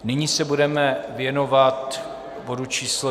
Nyní se budeme věnovat bodu číslo